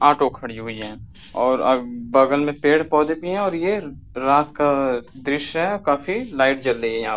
auto खड़ीं हुईं है और अ ब बगल में पेड़-पौधे भी हैं और ये रात का दृश्य है काफी लाइट जल रही हैं यहाँ --